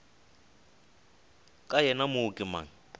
ka yena mo ke mang